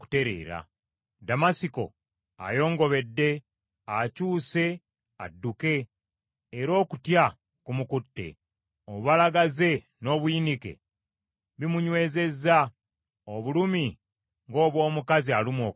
Ddamasiko ayongobedde, akyuse adduke era okutya kumukutte; obubalagaze n’obuyinike bimunyweezezza, obulumi nga obw’omukazi alumwa okuzaala.